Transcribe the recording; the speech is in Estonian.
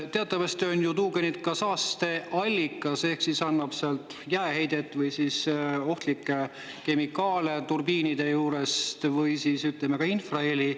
Teatavasti on ju tuugenid ka saasteallikad: jääheidet või ohtlikke kemikaale sealt turbiinide juurest või siis ka infraheli.